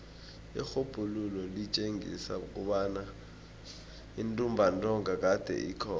irhubhululo litjengisa kobana intumbantonga kade ikhona